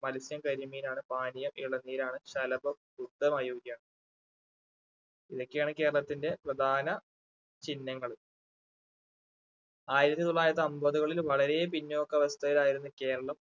മൽസ്യം കരിമീൻ ആണ് പാനീയം ഇളനീര് ആണ് ശലഭം . ഇതൊക്കെയാണ് കേരളത്തിന്റെ പ്രധാന ചിഹ്നങ്ങള് ആയിരത്തി തൊള്ളായിരത്തി അമ്പതുകളിൽ വളരെ പിന്നോക്ക അവസ്ഥയിലായിരുന്നു കേരളം.